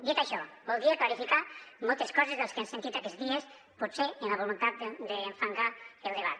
dit això voldria clarificar moltes coses de les que hem sentit aquests dies potser amb la voluntat d’enfangar el debat